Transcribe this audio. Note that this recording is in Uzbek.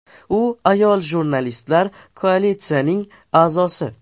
U Ayol jurnalistlar Koalitsiyasining a’zosi.